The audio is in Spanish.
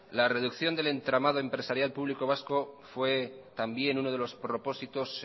la reducción del entramado empresarial público vasco fue también uno de los propósitos